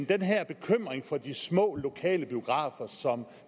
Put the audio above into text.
den her bekymring for de små lokale biografer som